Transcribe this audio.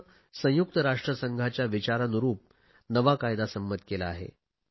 सरकारने संयुक्त राष्ट्रसंघाच्या विचारानुरुप नवा कायदा संमत केला आहे